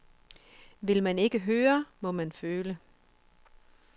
Vil man ikke høre, må man føle.